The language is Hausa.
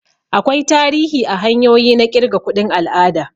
Akwai tarihi a hanyoyi na kirga kuɗin al'ada.